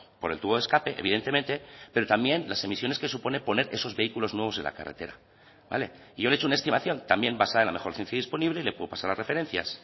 por el tubo de escape evidentemente pero también las emisiones que suponen poner esos vehículos nuevos en la carretera vale y yo le he hecho una estimación también basada en la mejor ciencia disponible le puedo pasar las referencias